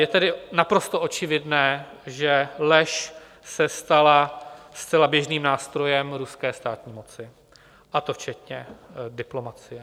Je tedy naprosto očividné, že lež se stala zcela běžným nástrojem ruské státní moci, a to včetně diplomacie.